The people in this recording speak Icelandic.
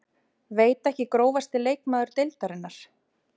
Veit ekki Grófasti leikmaður deildarinnar?